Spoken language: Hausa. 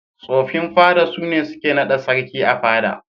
Tsofin fada sune suke naɗa sarki a fada.